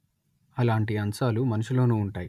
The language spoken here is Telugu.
అలాంటి అంశాలు మనిషిలోనూ ఉంటాయి